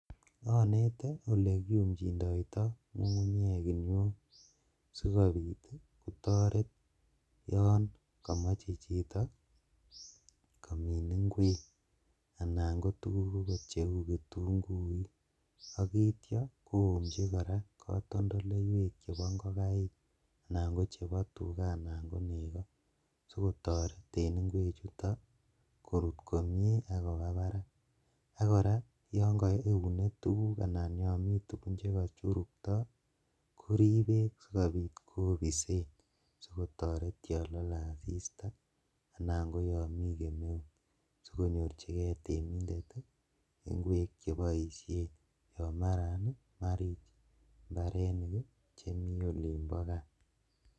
Onete olekiyumsoitoi ngungunyek kiniuok sikobit kotoret yon komoche chito komin inkwek anan kotuguk cheu kitunguik , ak itio koumji kotondoleiwek chebo ingokaik anan kochebo tugaa anan ko nego sikotoret en inkwechu korut komie ak kobaa barak ak, koraa yon kokiune tuguk anan tugun chekokichurukto korib beek sikobit kobisen sikotoret yon lole asista anan koyon mi kemeut sikonyorjigee temindet inkwek cheboisien yon maran marich mbarenik chemi olibo kaa .